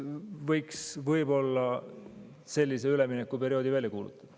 Võiks võib-olla sellise üleminekuperioodi välja kuulutada.